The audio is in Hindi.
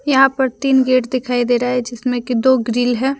यहां पर तीन गेट दिखाई दे रहे हैं जिसमें की दो ग्रिल है।